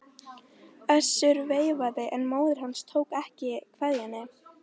Össur veifaði en móðir hans tók ekki kveðjunni.